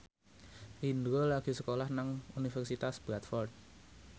Indro lagi sekolah nang Universitas Bradford